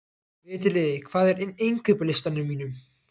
Veturliði, hvað er á innkaupalistanum mínum?